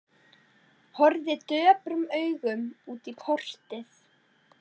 Horfði döprum augum út í portið.